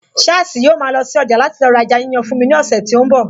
Sháàsì yóò ma lọ sí ọjà láti lọ ra ẹja yíyan fún mi ní ọ̀sẹ̀ tí ó ń bọ̀